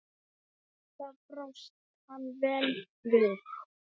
Alltaf brást hann vel við.